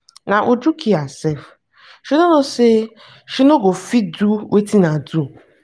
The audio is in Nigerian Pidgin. na uju kill herself. she no know say she no go fit do wetin i do.